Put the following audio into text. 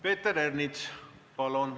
Peeter Ernits, palun!